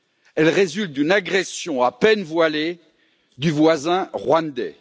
Elle résulte d'une agression à peine voilée du voisin rwandais.